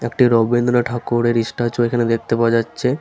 একটি রবীন্দ্র ঠাকুরের ইস্ট্যাচু এখানে দেখতে পাওয়া যাচ্ছে।